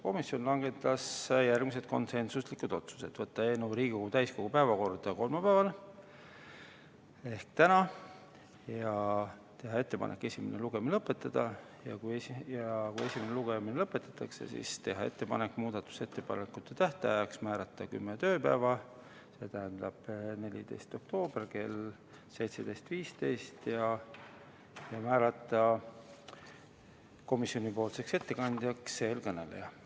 Komisjon langetas järgmised konsensuslikud otsused: panna eelnõu Riigikogu täiskogu päevakorda kolmapäevaks ehk tänaseks ja teha ettepanek esimene lugemine lõpetada; kui esimene lugemine lõpetatakse, siis teha ettepanek määrata muudatusettepanekute esitamise tähtajaks kümme tööpäeva, st 14. oktoober kell 17.15, ja määrata komisjoni ettekandjaks siinkõneleja.